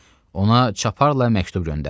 Ona çaparla məktub göndərdi.